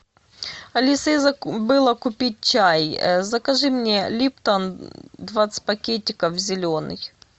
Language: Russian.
алиса я забыла купить чай закажи мне липтон двадцать пакетиков зеленый